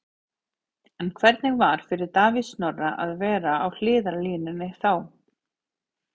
En hvernig var fyrir Davíð Snorra að vera á hliðarlínunni þá?